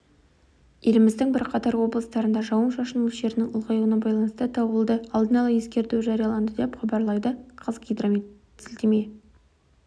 еліміздің бірқатар облыстарында жауын-шашын мөлшерінің ұлғаюына байланысты дауылды алдын ала ескерту жарияланды деп хабарлайды қазгидрометке сілтеме